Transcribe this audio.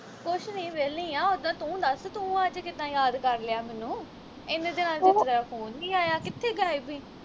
ਕੁਛ ਨੀ ਵਹਿਲੀ ਆ ਉੱਦਾਂ ਤੂੰ ਦੱਸ ਤੂੰ ਅੱਜ ਕਿੱਦਾਂ ਯਾਦ ਕਰ ਲਿਆ ਮੈਨੂੰ ਏਨੇ ਦਿਨ ਤੇਰਾਂ phone ਨੀ ਆਇਆ ਕਿਥੇ ਗਾਇਬ ਹੀ